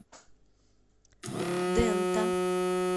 дэнта